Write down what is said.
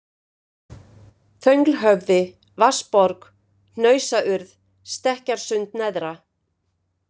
Þönglhöfði, Vatnsborg, Hnausaurð, Stekkjarsund-neðra